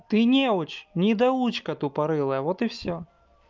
ты неуч недоучка тупорылая вот и всё